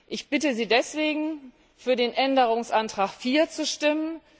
Ich bitte Sie deswegen, für den Änderungsantrag 4 zu stimmen.